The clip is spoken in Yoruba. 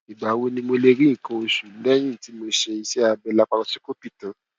ìgbà wo ni mo lè rí nǹkan oṣù lẹyìn tí mo ṣe iṣẹ abẹ laparosíkópì tán